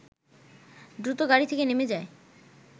দ্রুত গাড়ি থেকে নেমে যায়